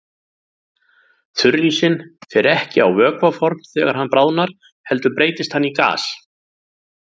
Þurrísinn fer ekki á vökvaform þegar hann bráðnar heldur breytist hann í gas.